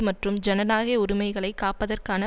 மற்றும் ஜனநாயக உரிமைகளை காப்பதற்கான